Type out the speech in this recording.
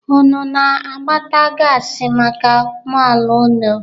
Unu na-agbata gaasị maka ụgbọala unu?